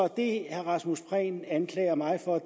det herre rasmus prehn anklager mig for